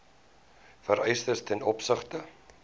vereistes ten opsigte